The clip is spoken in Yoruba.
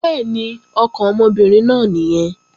Bẹ́ẹ̀ni, ọkàn ọmọbìnrin náà nìyẹn